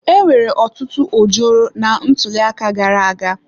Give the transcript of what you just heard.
Enwere otutu ojoro na ntuliaka gara aga.